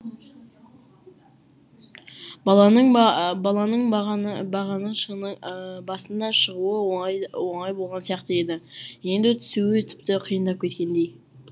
баланың ба баланың бағана бағана шыңның басына шығуы оңай оңай болған сияқты еді енді түсуі тіпті қиындап кеткендей